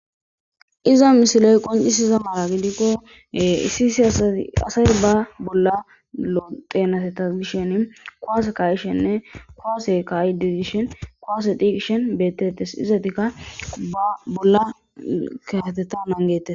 iza misiley qoncisiza mara gidikkohee issi isi asati asay ba bolla loteenateta gishen koase kayishenne koase kayididishhin koaseti kishen beettettes izatikka ba bolla kayatettan angettes